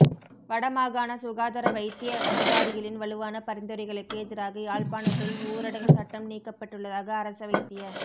வடமாகாண சுகாதார வைத்திய அதிகாரிகளின் வலுவான பரிந்துரைகளுக்கு எதிராக யாழ்ப்பாணத்தில் ஊரடங்கு சட்டம் நீக்கப்பட்டுள்ளதாக அரச வைத்திய